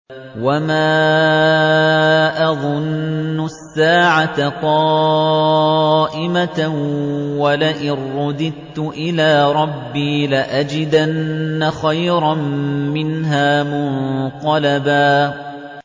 وَمَا أَظُنُّ السَّاعَةَ قَائِمَةً وَلَئِن رُّدِدتُّ إِلَىٰ رَبِّي لَأَجِدَنَّ خَيْرًا مِّنْهَا مُنقَلَبًا